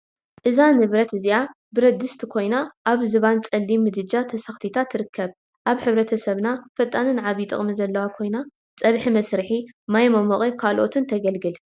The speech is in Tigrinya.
እዛ ነብረት እዚኣ ብረድስቲ ኮይና አብ ዝባን ፀሊም ምድጃ ተሰክቲታ ተርከብ፡፡ አብ ሕብረተሰብና ፈጣንን ዓብዪ ጥቅሚ ዘለዋን ኮይና ፀብሒ መስርሒ፣ ማይ መሞቂን ካልኦትን ተገልግል፡፡